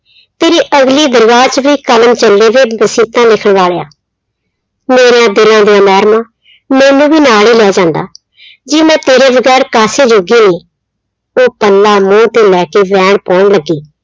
ਤੇਰੀ ਅਗਲੀ ਦਰਗਹ 'ਚ ਵੀ ਕਲਮ ਚੱਲੇ ਵੇ ਵਾਲਿਆ, ਮੇਰਿਆਂ ਤੇਰਿਆਂ ਦੀਆਂ ਮੈਨੂੰ ਵੀ ਨਾਲ ਹੀ ਲੈ ਜਾਂਦਾ ਜੀ ਮੈਂ ਤੇਰੇ ਵਗ਼ੈਰ ਕਾਸੇ ਜੋਗੀ ਨਹੀਂ, ਉਹ ਪੱਲਾ ਮੂੰਹ ਤੇ ਲੈ ਕੇ ਵੈਣ ਪਾਉਣ ਲੱਗੀ।